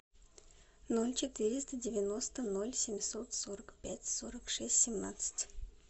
ноль четыреста девяносто ноль семьсот сорок пять сорок шесть семнадцать